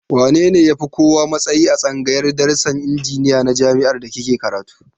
Wa ya fi kowa matsayi a tsangayar darasin injiniya na jami'ar da kike karatu